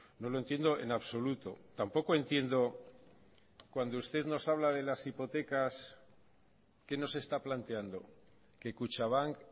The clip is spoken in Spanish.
no lo entiendo en absoluto tampoco entiendo cuando usted nos habla de las hipotecas qué nos está planteando que kutxabank